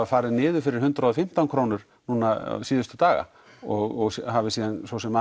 farið niður fyrir hundrað og fimmtán krónur núna síðustu daga og hafi síðan svo sem